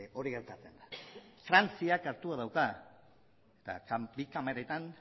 hori gertatzen da frantziak hartua dauka eta bi kameretan